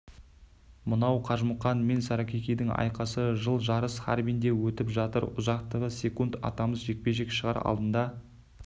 мынау қажымұқан мен саракикидің айқасы жыл жарыс харбинде өтіп жатыр ұзақтығы секунд атамыз жекпе-жекке шығар алдында